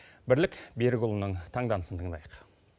бірлік берікұлының таңданысын тыңдайық